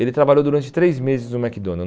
Ele trabalhou durante três meses no McDonald's.